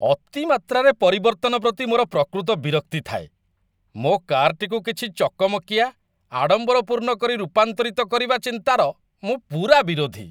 ଅତିମାତ୍ରାରେ ପରିବର୍ତ୍ତନ ପ୍ରତି ମୋର ପ୍ରକୃତ ବିରକ୍ତି ଥାଏ। ମୋ କାର୍ଟିକୁ କିଛି ଚକମକିଆ, ଆଡ଼ମ୍ବରପୂର୍ଣ୍ଣ କରି ରୂପାନ୍ତରିତ କରିବା ଚିନ୍ତାର ମୁଁ ପୂରା ବିରୋଧୀ।